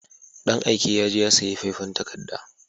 Dan aike yaje ya sayi faifan takarda